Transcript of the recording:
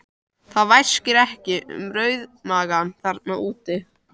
Það væsir ekki um rauðmagann þarna úti!